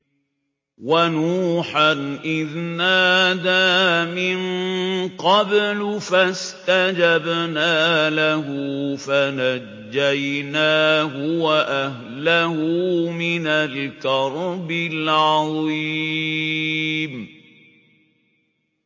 وَنُوحًا إِذْ نَادَىٰ مِن قَبْلُ فَاسْتَجَبْنَا لَهُ فَنَجَّيْنَاهُ وَأَهْلَهُ مِنَ الْكَرْبِ الْعَظِيمِ